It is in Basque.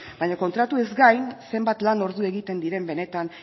baina kontratuez gain zenbat lan ordu egiten diren benetan